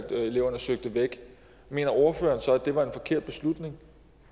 at eleverne søgte væk mener ordføreren så at det var en forkert beslutning